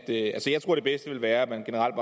det bedste vil være at der generelt